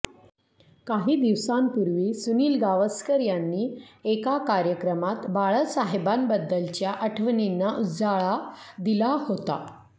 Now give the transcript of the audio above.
काही दिवसांपूर्वी सुनील गावसकर यांनी एका कार्यक्रमात बाळासाहेबांबद्दलच्या आठवणींना उजाळा दिला होता